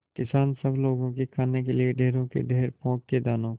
किसान सब लोगों के खाने के लिए ढेरों के ढेर पोंख के दानों को